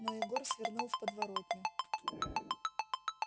но егор свернул в подворотню